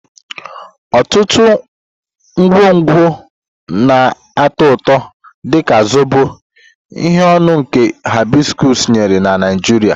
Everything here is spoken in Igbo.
Ọtụtụ ngwongwo na-atọ ụtọ, dị ka Zobo, ihe ọṅụṅụ nke hibiscus nyere na Nigeria.